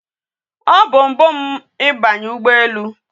O bu mbu m ibanye ugbo ele